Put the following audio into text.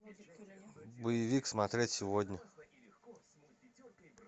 боевик смотреть сегодня